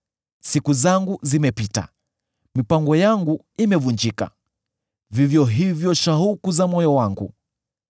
Siku zangu zimepita, mipango yangu imevunjika, vivyo hivyo shauku za moyo wangu.